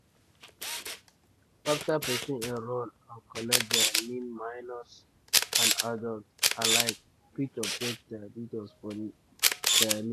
afta pesin enrol and collect dia nin minors and adults alike fit update dia details for dia nin.